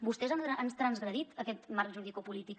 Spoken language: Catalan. vostès han transgredit aquest marc juridicopolític